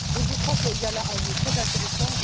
Donc, je crois qu'il y a là un lieu très intéressant.